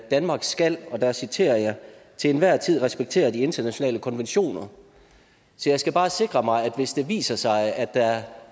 danmark skal og her citerer jeg til enhver tid respektere de internationale konventioner så jeg skal bare sikre mig at hvis det viser sig at der